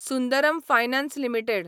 Sundaram finance limited